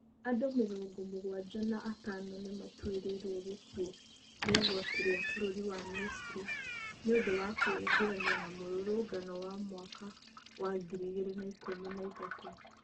Andũ mĩrongo mũgwanja na atano nĩ maatuĩrĩirwo gĩkuũ nĩ igoti rĩa Bũrũri wa Misiri nĩ ũndũ wa kwĩingĩrania na mũrũrũngano wa mwaka wa ngiri igĩrĩ na ikũmi na ithatũ.